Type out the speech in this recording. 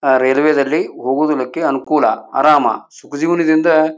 railway ದಲ್ಲಿ ಹೋಗುದಕ್ಕೆ ಅನುಕೂಲ ಆರಾಮ ಸುಖ ಜೀವನದಿಂದ--